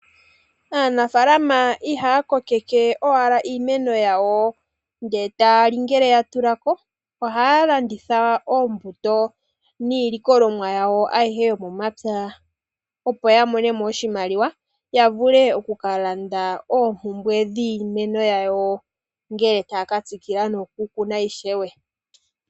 Aanafaalama ihaa kokeke owala iimeno yawo eta yali ngele ya tulako, ohaa landitha oombuto niilikolomwa yawo ayihe yomomapya opo aya mone oshimaliwa, ya vule okukalanda oompumbwe dhiimeno yawo ngele taya ka tsikila nokukuna ishewe.